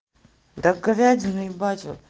так говядиной ебать вот